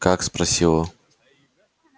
как спросила